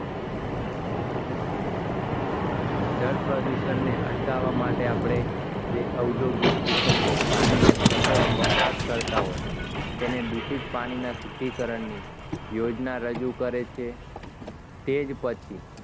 જળ પ્રદૂષણ ને અટકાવવા માટે આપણે જે ઔદ્યોગિક એકમો પાણીનો સતત વપરાશ કરતા હોય તેને દૂષિત પાણીના શુદ્ધિકરણ ની યોજના રજૂ કરે છે તે જ પછી